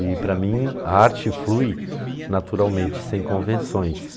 E, para mim, a arte flui naturalmente, sem convenções.